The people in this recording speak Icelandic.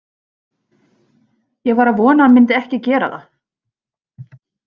Ég var að vona að hann myndi ekki gera það.